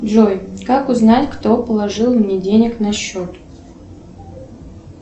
джой как узнать кто положил мне денег на счет